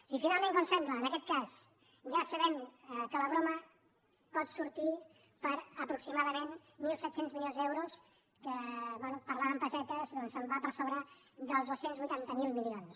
si finalment com sembla en aquest cas ja sabem que la broma pot sortir per aproximadament mil set cents milions d’euros bé parlant en pessetes se’n va per sobre del dos cents i vuitanta miler milions